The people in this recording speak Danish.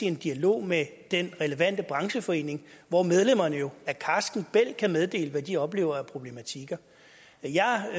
en dialog med den relevante brancheforening hvor medlemmerne jo af karsken bælg kan meddele hvad de oplever af problematikker jeg